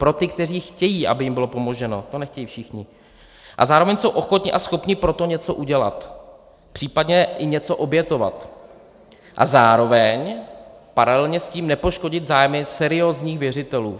Pro ty, kteří chtějí, aby jim bylo pomoženo, to nechtějí všichni, a zároveň jsou ochotni a schopni pro to něco udělat, příp. i něco obětovat a zároveň paralelně s tím nepoškodit zájmy seriózních věřitelů.